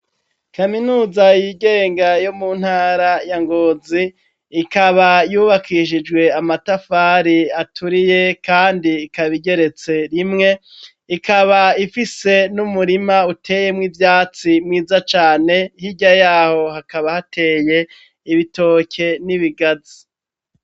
Kaminuza yigenga yo mu ntara ya Ngonzi ikaba yubakishijwe amatafari aturiye kandi ikaba igeretse rimwe, ikaba ifise n'umurima uteyemwo ivyatsi mwiza cane, hirya yaho hakaba hateye ibitoke n'ibigazi.